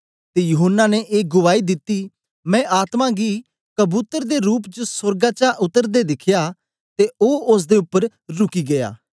ते यूहन्ना ने ए गुआई दिती मैं आत्मा गी कबूतर दे रूप च सोर्गा चा उतरदे दिखया ते ओ ओसदे उपर रुकी गीया